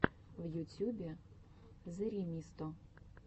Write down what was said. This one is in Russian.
в ютьюбе зэремисто